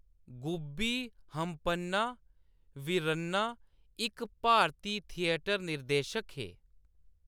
गुब्बी हम्पन्ना वीरन्ना इक भारती थियेटर निर्देशक हे।